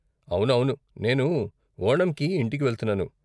అవునవును, నేను ఓణంకి ఇంటికి వెళ్తున్నాను.